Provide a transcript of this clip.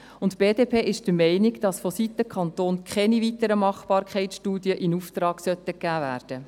Die BDP ist der Meinung, dass vonseiten des Kantons keine weiteren Machbarkeitsstudien in Auftrag gegeben werden sollten.